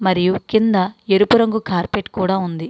మరియు కింద ఎరుపు రంగు కార్పెట్ కూడా ఉంది.